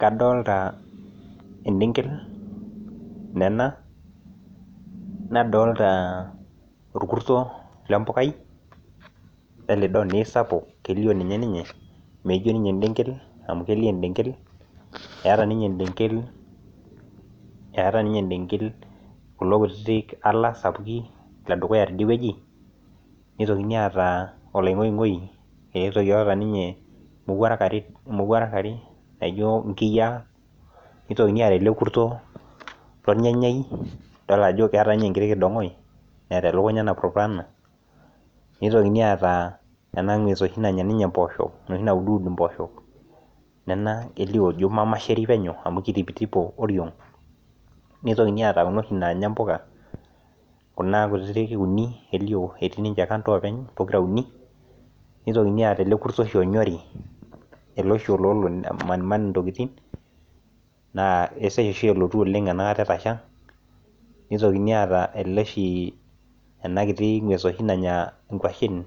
Kadolita edengel Nena nadolita orkurto lee mbukai lelidoo naa kisapuk kelio ninye meijio ninye edengel amu kelio edengel etaa ninye edengel kulo kutiti ala sapukin lee dukuya teidie wueji neitokini ataa olaing'oing'oi otaa ninye mowuarak are naijio nkiyia neitokini ataa ele kurto lornyanyai edol Ajo keeta ninye enkiti kidong'oe metaa elukunya napurupurana neitokini ataa ena ng'ues oshi naanya mboshok enoshi nauduud ninye mboshok Nena kelio ino mamasheri penyo amu kitipito oriog neitokini ataa Kuna oshi naanya mbuka Kuna kutiti uni eti ninje kando openy pokira uni neitokini ataa ele kurto oshi onyori ele oshi olo amaniman ntokitin naa kesesha oshi elotu enakata etasha neitoki ataa ele oshi ena kitu ng'ues oshi naanya nkuashen